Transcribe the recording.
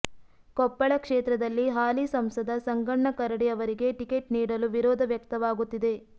ಕೊಪ್ಪಳ ಕ್ಷೇತ್ರದಲ್ಲಿ ಹಾಲಿ ಸಂಸದ ಸಂಗಣ್ಣ ಕರಡಿ ಅವರಿಗೆ ಟಿಕೆಟ್ ನೀಡಲು ವಿರೋಧ ವ್ಯಕ್ತವಾಗುತ್ತಿದೆ